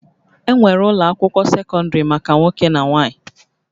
Enwere ụlọ akwụkwọ sekọndrị maka nwoke na nwanyị